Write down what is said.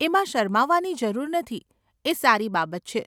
એમાં શરમાવાની જરૂર નથી, એ સારી બાબત છે.